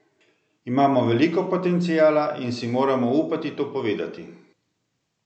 Imamo veliko potenciala in si moramo upati to povedati!